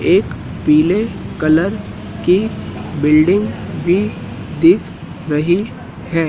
एक पीले कलर की बिल्डिंग भी दिख रही है।